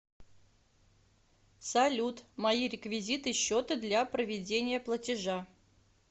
салют мои реквизиты счета для проведения платежа